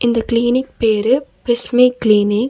இந்த கிளினிக் பேரு பிஸ்மி கிளினிக் .